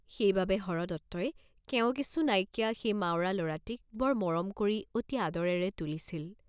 সেইবাবে হৰদত্তই কেঁও কিছু নাইকিয়া সেই মাউৰা ল'ৰাটিক বৰ মৰম কৰি অতি আদৰেৰে তুলিছিল।